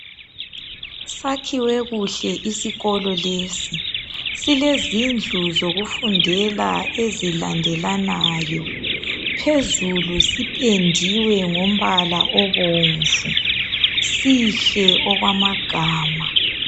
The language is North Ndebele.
Sakhiwe kuhle isikolo lesi silezindlu zokufundela ezilandelanayo phezulu sipendiwe ngompala obomvu sihle okwamagama.